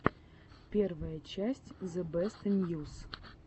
первая часть зэбэстньюс